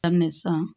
Daminɛ sisan